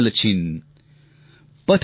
गिनते दिन पलछिन